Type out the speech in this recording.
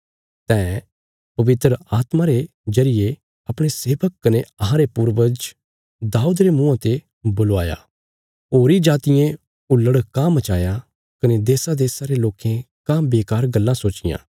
तैं पवित्र आत्मा रे जरिये अपणे सेवक कने अहांरे पूर्वज दाऊद रे मुँआं ते बुलवाया होरीं जातियें हुल्लड़ काँह मचाया कने देशादेशा रे लोकें काँह बेकार गल्लां सोचियां